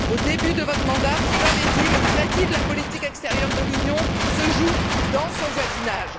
Au début de votre mandat, vous avez dit Le crédit de la politique extérieure de l'Union se joue dans son voisinage.